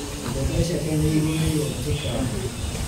Mbembe ciake nĩ igũmĩirwo nĩ tũtambi.